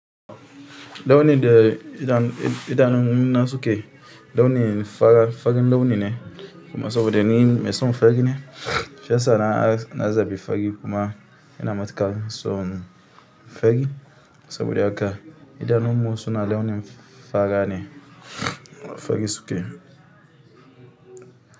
Launi da idanun na suke launin farin launi ne kuma saboda ni mai son fari ne shiyasa na zaɓi fari kuma ina matuƙar son fari saboda haka idanunmu suna launin fara ne fari suke.